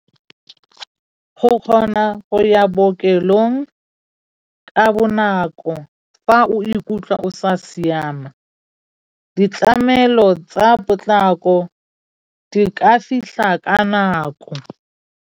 Go kgona go ya bookelong ka bonako fa o ikutlwa o sa siama, ditlamelo tsa potlako di ka fitlha ka nako.